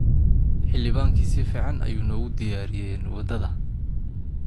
Xilibankii si fiican ayuu noogu diyaariyeen wadada